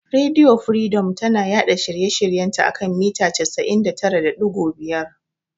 Rediyo firidom tana yaɗa shirye shiryen ta a kan mita 99.5.